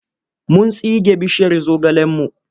Mun tsige bishiyar zogalenmu.